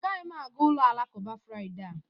Agaghị m aga ụlọ alakụba Friday a